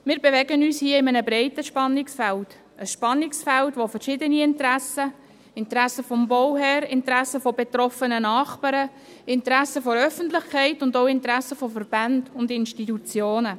Wir bewegen uns hier in einem breiten Spannungsfeld – ein Spannungsfeld, in dem verschiedene Interessen aufeinandertreffen: Interessen des Bauherrn, Interessen betroffener Nachbarn, Interessen der Öffentlichkeit und auch Interessen von Verbänden und Institutionen.